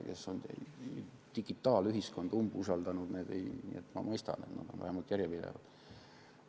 Neid, kes on digitaalühiskonda umbusaldanud, ma mõistan, nad on vähemalt järjepidevad.